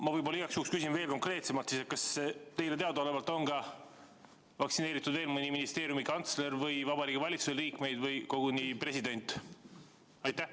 Ma võib-olla igaks juhuks küsin veel konkreetsemalt: kas teile teadaolevalt on vaktsineeritud veel mõni ministeeriumi kantsler või Vabariigi Valitsuse liige või koguni president?